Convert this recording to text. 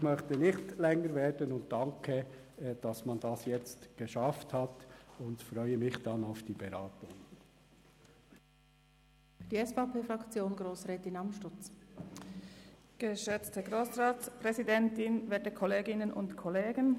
Ich möchte nicht länger werden und danke, dass man das nun geschafft hat und freue mich auf die Beratung.